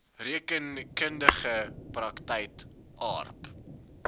rekeningkundige praktyk aarp